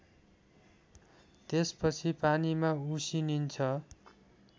त्यसपछि पानीमा उसिनिन्छ